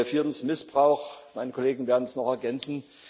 Viertens Missbrauch Meine Kollegen werden es noch ergänzen.